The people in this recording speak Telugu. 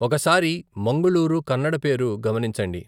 ఒకసారి మంగళూరు కన్నడ పేరు గమనించండి.